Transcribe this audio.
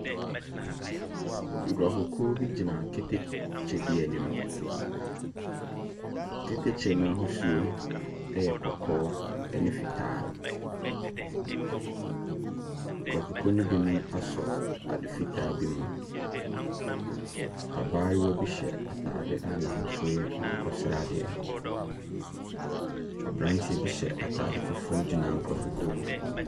Nkurɔfokuo bi gyina keteke bi anim. Keteke no ahosuo yɛ kɔkɔɔ ne fitaa. Nkurɔfokuo no binom asɔ ade fitaa bi mu. Abaayewa bi hyɛ atade a n'ahosuo yɛ akokɔsradeɛ. Aberanteɛ bi hyɛ atade fufuo gyina nkurɔfokuo no mu.